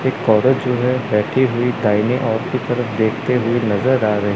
एक औरत जो है बैठी हुई दाहिने और की तरफ देखते हुए नजर आ रही--